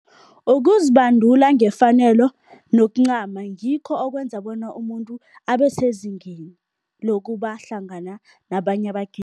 Ukuzibandula ngefanelo nokuncama, ngikho okwenza bona umuntu abesezingeni lokuba hlangana nabanye